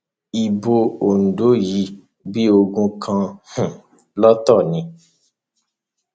ibo ondo yìí bíi ogún kan um lọtọ ni